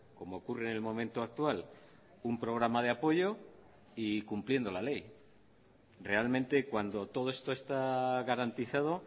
como ocurre en el momento actual un programa de apoyo y cumpliendo la ley realmente cuando todo esto está garantizado